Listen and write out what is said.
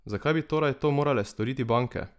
Zakaj bi torej to morale storiti banke?